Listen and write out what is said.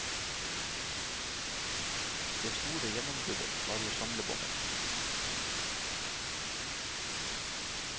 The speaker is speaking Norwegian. Det store gjennombruddet var jo samlebåndet.